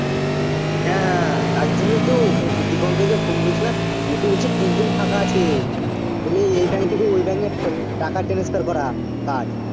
হ্যাঁ হ্যাঁ তার জন্যেই তো Dipankar কে phone করেছিলাম ও তো বলছে তিন জন ফাঁকা আছে বলছে এই bank থেকে ওই bank এ টা~ টাকা transfer করা কাজ